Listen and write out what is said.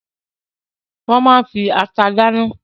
Wọ́n máa ń fi ata dáná.